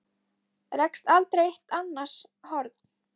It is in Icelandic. Rekst aldrei eitt á annars horn?